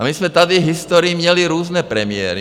A my jsme tady v historii měli různé premiéry.